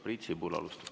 Priit Sibul, palun!